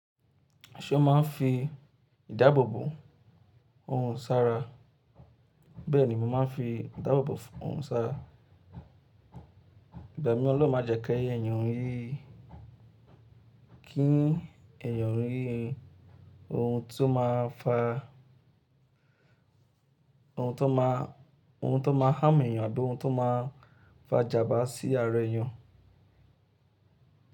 Ṣé o máa ń fi ìdáàbòbò orun ṣara? Bẹ́ẹ̀ni, mo máa ń fi ìdáàbòbò orun ṣara. Igba mi ọlọ́run májẹ̀ ki èèyàn rí, kí èèyàn rí ohun tó máa fa ohun tó máa, ohun tó máa hámù èèyàn àbí ohun tó máa fa ijàmbá sí ara èèyàn.